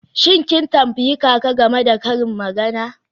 Shin kin tambayi kaka game da karin magana?